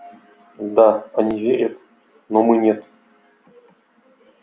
да они верят но мы нет